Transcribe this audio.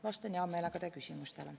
Vastan hea meelega teie küsimustele.